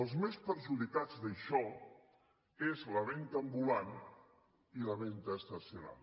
els més perjudicats d’això és la venda ambulant i la venda estacional